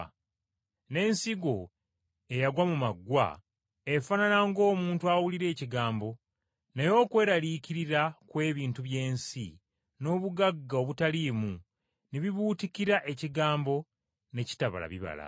N’ensigo eyagwa mu maggwa efaanana ng’omuntu awulira ekigambo naye okweraliikirira kw’ebintu by’ensi n’obugagga obutaliimu ne bibuutikira ekigambo ne kitabala bibala.